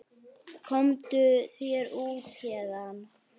Komdu þér út héðan!